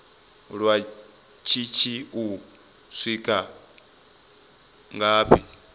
lwa shishi u swika ngafhi